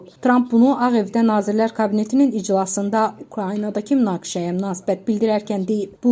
Tramp bunu Ağ Evdə Nazirlər Kabinetinin iclasında Ukraynadakı münaqişəyə münasibət bildirərkən deyib.